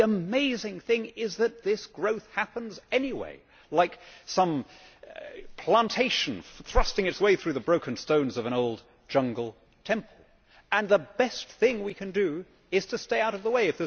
The amazing thing is that this growth happens anyway, like some plantation thrusting its way through the broken stones of an old jungle temple, and the best thing we can do is to stay out of the way.